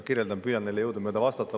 Ma püüan neile jõudumööda vastata.